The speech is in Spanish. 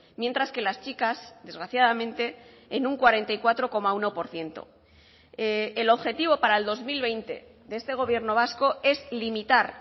mientras que las chicas desgraciadamente en un cuarenta y cuatro coma uno por ciento el objetivo para el dos mil veinte de este gobierno vasco es limitar